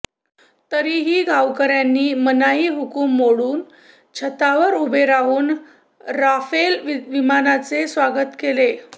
तरीही गावकर्यांनी मनाई हुकूम मोडून छतावर उभे राहून राफेल विमानांचे स्वागत केले